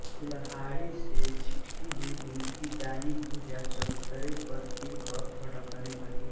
कुल्हाड़ी से छिटकी हुई उनकी दायीं भुजा चबूतरे पर गिरकर फड़कने लगी